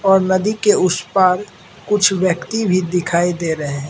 और नदी के उस पार कुछ व्यक्ति भी दिखाई दे रहे हैं।